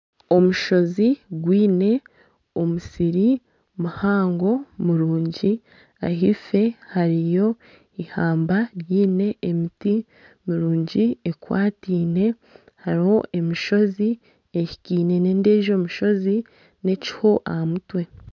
Omushozi gwine omusiri muhango murungi, ahaifo hariho ihamba riine emiti mirungi ekwatiine hariho emishozi ehikaine n'endiijo mishozi n'ekiho aha mutwe